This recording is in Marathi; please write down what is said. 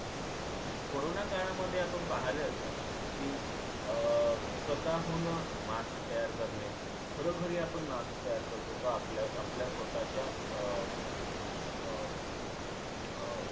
corona काळामध्ये आपण पहिले असाल कि अं स्वतःहून mask तयार करणे घरोघरी आपण mask तयार करत होतो आपल्या आपल्या स्वतःच्या अं अं अं